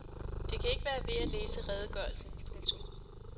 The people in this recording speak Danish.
Det kan ikke være ved at læse redegørelsen. punktum